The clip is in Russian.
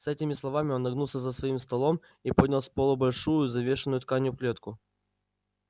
с этими словами он нагнулся за своим столом и поднял с полу большую завешенную тканью клетку